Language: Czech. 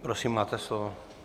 Prosím, máte slovo.